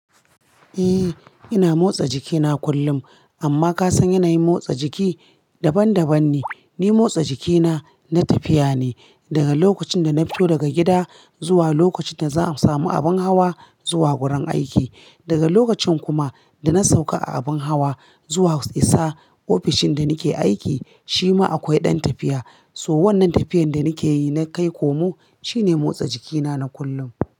Eh ina motsa jikina kullum amma kasan yanayin motsa jiki daban daban ne. Ni motsa jikina na tafiya ne daga lokacin da na fito daga gida zuwa lokacin da za a samu abin hawa zuwa wurin aiki. Daga lokacin kuma da na sauka a abin hawa zuwa isa ofishin da nake aiki shima akwai ɗan tafiya. So wannan tafiyar da nake yi na kai komo shine motsa jikina na kullum.